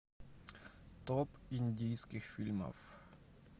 топ индийских фильмов